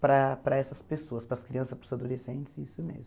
para para essas pessoas, para as crianças, para os adolescentes, isso mesmo.